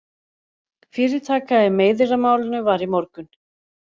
Fyrirtaka í meiðyrðamálinu var í morgun